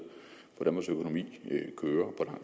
hvordan vores økonomi kører